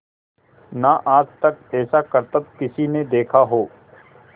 ना आज तक ऐसा करतब किसी ने देखा हो